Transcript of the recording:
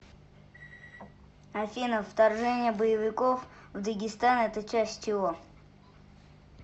афина вторжение боевиков в дагестан это часть чего